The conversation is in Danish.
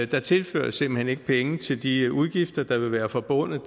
der tilføres simpelt hen ikke penge til de udgifter der vil være forbundet